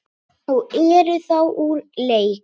og eru þá úr leik.